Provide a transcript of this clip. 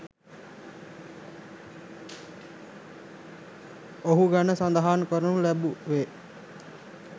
ඔහු ගැන සඳහන් කරනු ලැබුවේ